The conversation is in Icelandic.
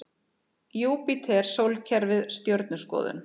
Júpíter Sólkerfið Stjörnuskoðun.